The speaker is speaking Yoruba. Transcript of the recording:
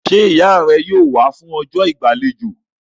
Ṣé ìyá rẹ yóò wá fún ọjọ́ ìgbàlejò?